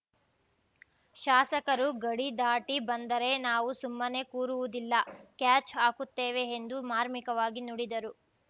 ಶಾಸಕರು ಗಡಿ ದಾಟಿ ಬಂದರೆ ನಾವು ಸುಮ್ಮನೆ ಕೂರುವುದಿಲ್ಲ ಕ್ಯಾಚ್‌ ಹಾಕುತ್ತೇವೆ ಎಂದು ಮಾರ್ಮಿಕವಾಗಿ ನುಡಿದರು